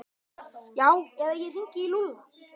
Já eða ég hringi í Lúlla.